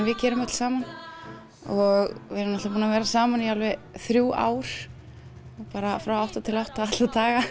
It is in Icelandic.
við gerum öll saman og við erum búin að vera saman í þrjú ár frá átta til átta alla daga